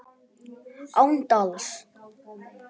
Án dals.